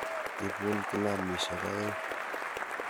Ipun kilamisyek aeng'.